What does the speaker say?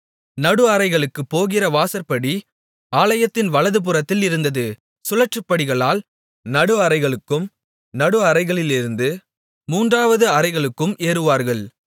நடு அறைகளுக்குப் போகிற வாசற்படி ஆலயத்தின் வலதுபுறத்தில் இருந்தது சுழற்படிகளால் நடு அறைகளுக்கும் நடு அறைகளிலிருந்து மூன்றாவது அறைகளுக்கும் ஏறுவார்கள்